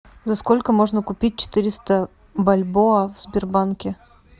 за сколько можно купить четыреста бальбоа в сбербанке